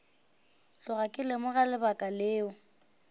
tloga ke lemoga lebaka leo